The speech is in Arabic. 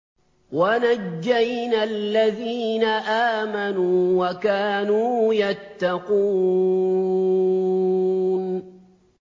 وَنَجَّيْنَا الَّذِينَ آمَنُوا وَكَانُوا يَتَّقُونَ